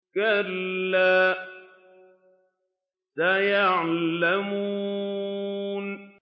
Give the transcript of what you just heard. كَلَّا سَيَعْلَمُونَ